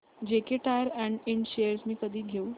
JK Tyre and Ind shares मी कधी घेऊ